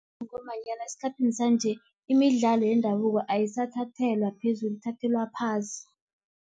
Ngombanyana esikhathini sanje, imidlalo yendabuko ayisathathelwa phezulu, ithathelwa phasi.